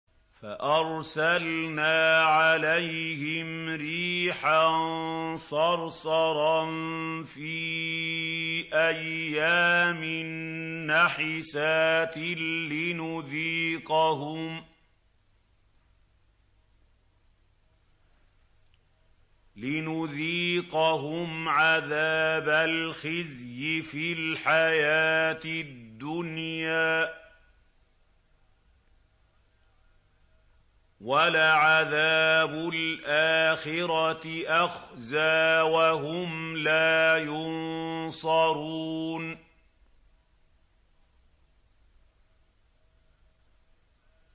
فَأَرْسَلْنَا عَلَيْهِمْ رِيحًا صَرْصَرًا فِي أَيَّامٍ نَّحِسَاتٍ لِّنُذِيقَهُمْ عَذَابَ الْخِزْيِ فِي الْحَيَاةِ الدُّنْيَا ۖ وَلَعَذَابُ الْآخِرَةِ أَخْزَىٰ ۖ وَهُمْ لَا يُنصَرُونَ